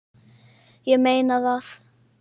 Ég meina það!